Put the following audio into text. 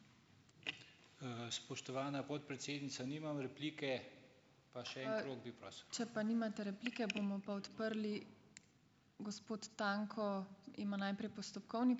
Spoštovana podpredsednica, nimam replike.